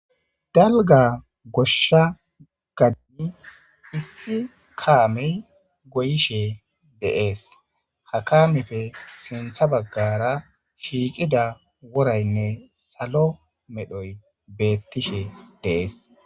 Dalga goshsha gadimi issi kaamey goyishe deees ha kaamefe sintha baggara shiiqida woraynne salo medhoy beettishe deees.